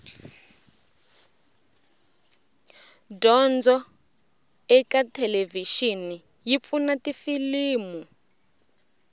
dyondzo ekathelevishini yipfuna tifilimu